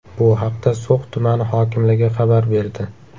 Bu haqda So‘x tumani hokimligi xabar berdi .